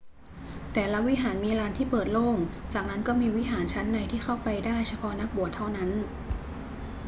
แต่ละวิหารมีลานที่เปิดโล่ง จากนั้นก็มีวิหารชั้นในที่เข้าไปได้เฉพาะนักบวชเท่านั้น